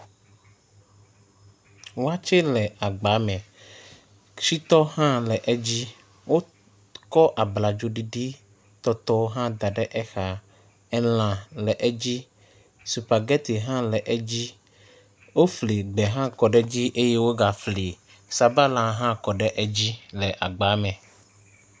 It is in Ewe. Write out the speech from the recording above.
Watseɛ le agbame, shitɔ hã le edzi. Wokɔ abladzoɖiɖitɔtɔ hã da ɖe exa. Elã le edzi, supageti hã le edzi, wofli ɖe hã kɔ ɖe edzi eye wogafli sabala hã kɔ ɖe edzi le agba me.